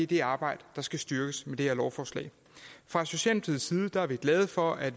det arbejde der skal styrkes med det her lovforslag fra socialdemokratiets side er vi glade for at